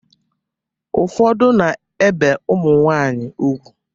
Ụfọdụ na-ebe ụmụnwanyị ugwu.